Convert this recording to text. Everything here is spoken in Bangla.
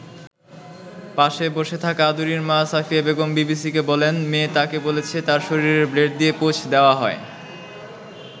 পাশে বসে থাকা আদুরির মা সাফিয়া বেগম বিবিসিকে বলেন, মেয়ে তাকে বলেছে তার শরীরে ব্লেড দিয়ে পোঁচ দেওয়া হয়।